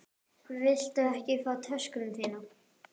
Viltu ekki fá töskuna þína?